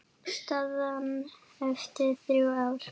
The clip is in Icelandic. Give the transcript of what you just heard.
Staðan eftir þrjú ár?